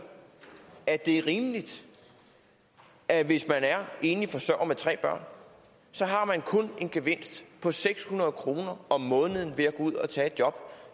det er rimeligt at hvis man er enlig forsørger med tre børn så har man kun en gevinst på seks hundrede kroner om måneden ved at gå ud og tage et job